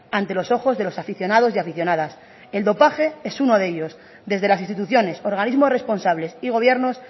ante los ojos de los aficionados y aficionadas el dopaje es uno de ellos desde las instituciones organismos responsables y gobiernos